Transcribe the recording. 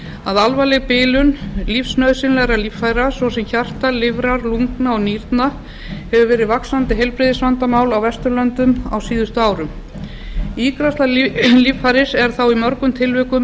að alvarleg bilun lífsnauðsynlegra líffæra svo sem hjarta lifrar lungna og nýrna hefur verið vaxandi heilbrigðisvandamál á vesturlöndum á síðustu árum ígræðsla líffæris er þá í mörgum tilvikum